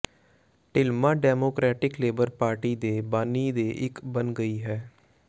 ਡਿਲਮਾ Democratic Labour Party ਦੇ ਬਾਨੀ ਦੇ ਇੱਕ ਬਣ ਗਈ ਹੈ